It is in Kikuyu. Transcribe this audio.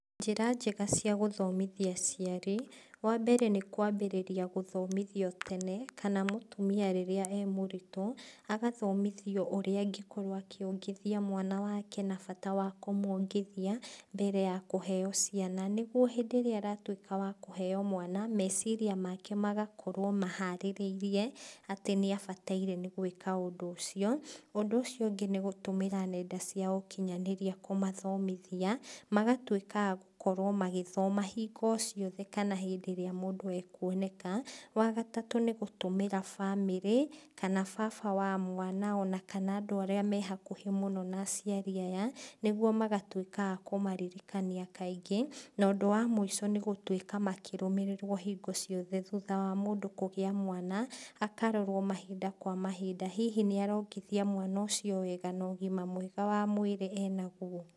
Njĩra njega cia gũthomithia aciari. Wa mbere nĩkwambĩrĩria gũthomithio tene, kana mũtumia rĩrĩa e mũritũ, agathomithio ũrĩa angĩkorwo akiongithia mwana wake, na bata wa kũmwongithia, mbere ya kũheo ciana, nĩguo hindĩ ĩrĩa agatuĩka wa kũheo mwana, meciria make magakorwo maharĩrĩirie, atĩ nĩabataire nĩgwĩka ũndũ ũcio. ũndũ ũcio ũngĩ nĩgũtũmĩra nenda cia ũkinyanĩria kũmathomithia, magatuĩka a gũkorwo magĩthoma hingo ciothe kana hĩndĩ ĩrĩa mũndũ ekuoneka, wa gatatũ nĩgũtũmĩra bamĩrĩ, kana baba wa mwana ona kana andũ arĩa me hakuhĩ mũno na aciari aya, nĩguo magatuĩka a kũmaririkania kaingĩ, na ũndũ wa mũico nĩgũtuĩka makĩrũmĩrĩrwo hingo ciothe thutha wa mũndũ kũgĩa mwana, akarorwo mahinda kwa mahinda. Hihi nĩarongithia mwana ũcio wega na ũgima mwega wa mwĩra enaguo.